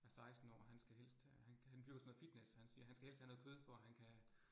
Er 16 år, han skal helst have øh, han han dyrker sådan noget fitness han siger, han skal helst have noget kød for han kan